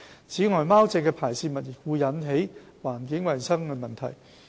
此外，貓隻的排泄物亦會引致環境衞生問題。